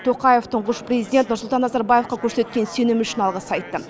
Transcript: тоқаев тұңғыш президент нұрсұлтан назарбаевқа көрсеткен сенімі үшін алғыс айтты